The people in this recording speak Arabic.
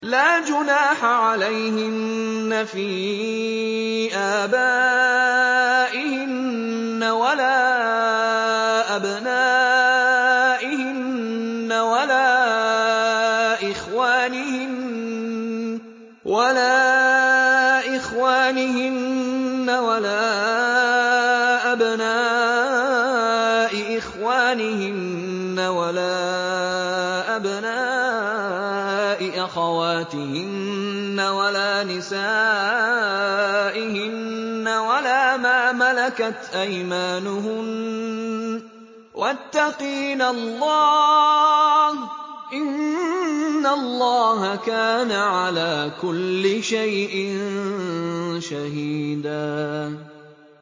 لَّا جُنَاحَ عَلَيْهِنَّ فِي آبَائِهِنَّ وَلَا أَبْنَائِهِنَّ وَلَا إِخْوَانِهِنَّ وَلَا أَبْنَاءِ إِخْوَانِهِنَّ وَلَا أَبْنَاءِ أَخَوَاتِهِنَّ وَلَا نِسَائِهِنَّ وَلَا مَا مَلَكَتْ أَيْمَانُهُنَّ ۗ وَاتَّقِينَ اللَّهَ ۚ إِنَّ اللَّهَ كَانَ عَلَىٰ كُلِّ شَيْءٍ شَهِيدًا